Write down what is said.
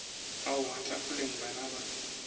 a wa tafoleng bana ba